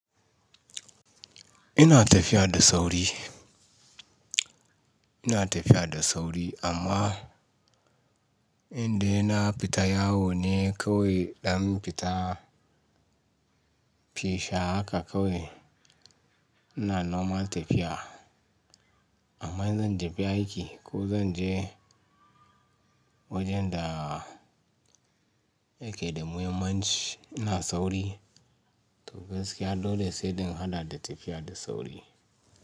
Ina tafiya da sauri, ina tafiya da sauri amma inda ina fita ya wone kawai idan fita, fisha haka kawai. Ina normal tafiya amma zanta fi aiki ko zan je wajenda yake da muhimmanci. Ina sauri to gaskiya dole sai din haɗa da tafiya da sauri.